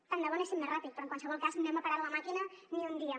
tant de bo anéssim més ràpid però en qualsevol cas no hem parat la màquina ni un dia